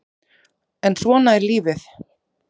En svona er lífið